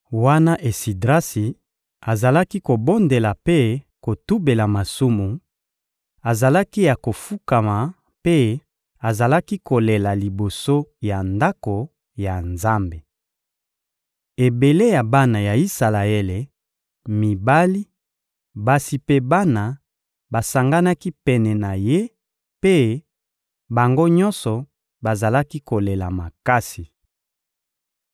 Wana Esidrasi azalaki kobondela mpe kotubela masumu, azalaki ya kofukama mpe azalaki kolela liboso ya Ndako ya Nzambe. Ebele ya bana ya Isalaele: mibali, basi mpe bana, basanganaki pene na ye mpe, bango nyonso, bazalaki kolela makasi.